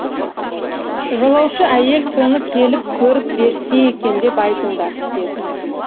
жолаушы әйел соны келіп көріп берсе екен деп айтыңдар деді